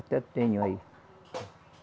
Até tenho aí.